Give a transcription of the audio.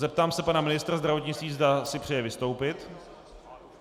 Zeptám se pana ministra zdravotnictví, zda si přeje vystoupit.